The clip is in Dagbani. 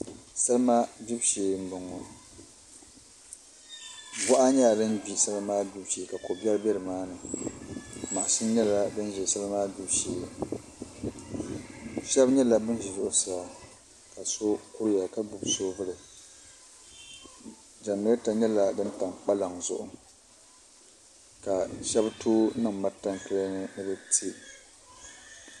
Salima gbibu shee n boŋo boɣa nyɛla din bɛ salima maa gbibu shee ka ko biɛri bɛ nimaani mashin nyɛla din bɛ salima maa gbibu shee doo kuriya ka gbubi soobuli jɛnirɛta nyɛla din tam kpalaŋ zuɣu ka shab tooi niŋ mantankilɛ ni ni bi tiɛ